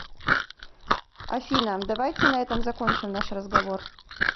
афина давайте на этом закончим наш разговор